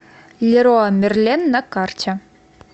леруа мерлен на карте